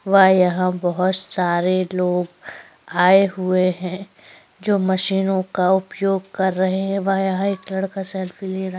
व यहाँ बहुत सारे लोग आये हुए है जो मशीनों का उपयोग कर रहे है वहा एक लड़का सेल्फी ले रहा --